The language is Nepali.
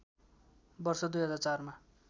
वर्ष २००४ मा